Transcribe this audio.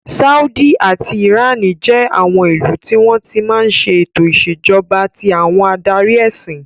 Sáúdí àti ìránì jẹ́ àwọn ìlú tí wọ́n ti máa ń ṣe ètò ìṣèjọba tí àwọn adarí ẹsìn.